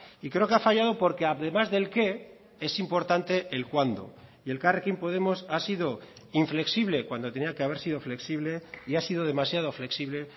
y creo que ha fallado porque además del qué es importante el cuándo y elkarrekin podemos ha sido inflexible cuando tenía que haber sido flexible y ha sido demasiado flexible